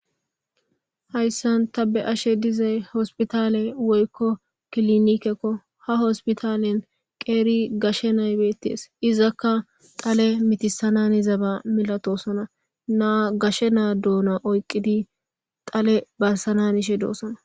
Hayssan ta be7ashe diizay hossiputtale woykko killinikeko ha hossiputallen qeeri gashe na7ay bettes iizaka dhalle mittissana hanizabba maalatossona naa gashe naa doona oqqidi dhalle barssana hanishe doossona.